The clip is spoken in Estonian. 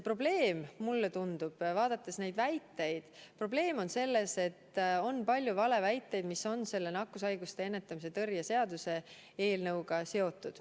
Probleem on, mulle tundub, selles, et on palju valeväiteid, mis on nakkushaiguste ennetamise ja tõrje seaduse eelnõuga seotud.